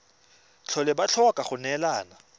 tlhole ba tlhoka go neelana